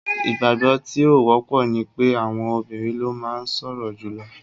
Ìgbàgbọ́ tí ó wọ́pọ̀ ni pé àwọn obìrin ló máa ń sọ̀rọ̀ jùlọ.